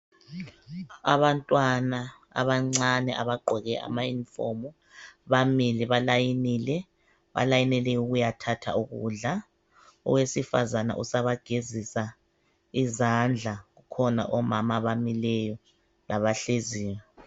Abantwana abancane abagqoke amauniform bamile balayinile balayinele ukuyathatha ukudla. Owesifazana usabagezisa izandla kukhona omama abamileyo labahleziyo